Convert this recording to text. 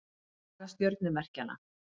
Saga stjörnumerkjanna.